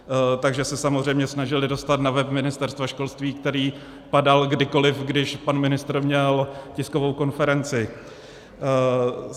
Takže se samozřejmě snažili dostat na web Ministerstva školství, který padal kdykoliv, když pan ministr měl tiskovou konferenci.